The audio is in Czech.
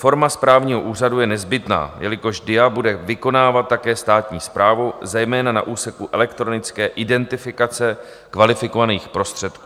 Forma správního úřadu je nezbytná, jelikož DIA bude vykonávat také státní správu, zejména na úseku elektronické identifikace kvalifikovaných prostředků.